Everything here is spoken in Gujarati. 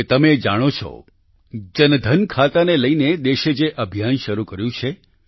હવે તમે એ જાણો છો જનધન ખાતાને લઈને દેશે જે અભિયાન શરૂ કર્યું છે